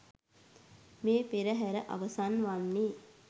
මේ පෙරහැර අවසන් වන්නේ